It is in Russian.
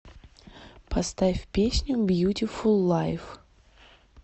поставь песню бьютифул лайф